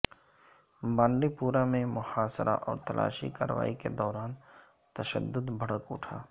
بانڈی پورہ میں محاصرہ اور تلاشی کارروائی کے دوران تشدد بھڑک اٹھا